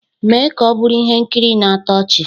"Mee ka ọ bụrụ ihe nkiri na-atọ ọchị"